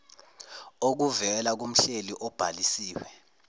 okuvela kumhleli obhalisiwe